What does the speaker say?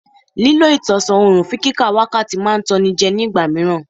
Lílọ ìtọ̀sán òrùn fún kíka wákàtí máa ń tan ni jẹ́ ní ìgbà míràn.